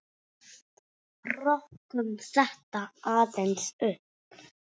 Rokkum þetta aðeins upp!